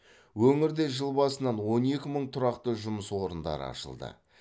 өңірде жыл басынан он екі мың тұрақты жұмыс орындары ашылды